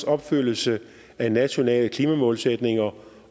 opfyldelse af nationale klimamålsætninger